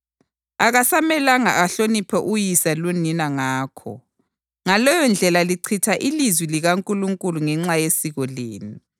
akasamelanga ahloniphe uyise lonina ngakho. Ngaleyondlela lichitha ilizwi likaNkulunkulu ngenxa yesiko lenu.